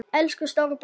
Elsku stóri bróðir!